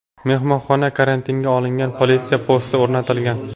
Mehmonxona karantinga olingan, politsiya posti o‘rnatilgan.